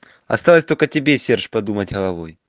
осталось только тебе серж подумать головой